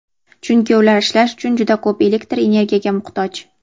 chunki ular ishlash uchun juda ko‘p elektr energiyaga muhtoj.